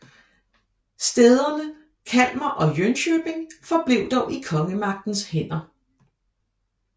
Stæderne Kalmar og Jönköping forblev dog i kongemagtens hænder